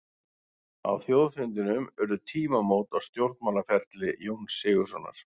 Á þjóðfundinum urðu tímamót á stjórnmálaferli Jóns Sigurðssonar.